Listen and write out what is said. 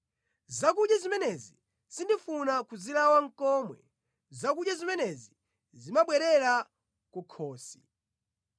Zakudya zimenezi sindifuna nʼkuzilawa komwe; zakudya zimenezi zimabwerera kukhosi.